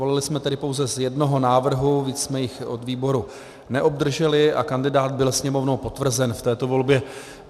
Volili jsme tedy pouze z jednoho návrhu, víc jsme jich od výboru neobdrželi, a kandidát byl Sněmovnou potvrzen v této volbě.